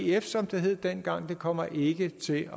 ef som det hed dengang kommer ikke til